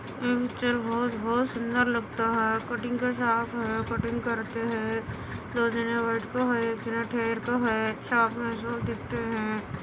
ये पिक्चर बहुत - बहुत सुन्दर लगता है कटिंग का शॉप हैं कटिंग करते है हेयर का है शॉप